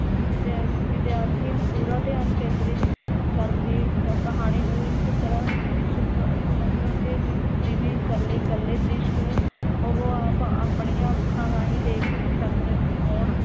ਵਿਦਿਆ ਵਿਦਿਆਰਥੀ ਪੂਰਾ ਧਿਆਨ ਕੇਂਦਰਿਤ ਕਰਕੇ ਕ ਕਹਾਣੀ ਨੂੰ ਇਸ ਤਰਾਂ ਸ ਸੰਗ ਸੁਣਨਗੇ ਜ ਜਿਵੇਂ ਕੱਲੇ ਕੱਲੇ ਦ੍ਰਿਸ਼ ਨੂੰ ਉਹ ਆਪ ਆਪਣੀਆਂ ਅੱਖਾਂ ਰਾਹੀਂ ਦੇਖ ਸਕਦੇ ਹੋਣ